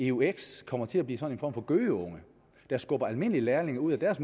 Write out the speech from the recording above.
eux kommer til at blive sådan for gøgeunge der skubber almindelig lærlinge ud af deres